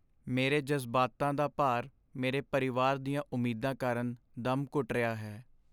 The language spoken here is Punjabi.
ਮੇਰੇ ਜਜ਼ਬਾਤਾਂ ਦਾ ਭਾਰ ਮੇਰੇ ਪਰਿਵਾਰ ਦੀਆਂ ਉਮੀਦਾਂ ਕਾਰਨ ਦਮ ਘੁੱਟ ਰਿਹਾ ਹੈ।